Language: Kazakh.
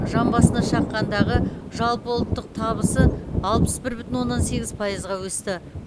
жан басына шаққандағы жалпы ұлттық табыс алпыс бір бүтін оннан сегіз пайызға өсті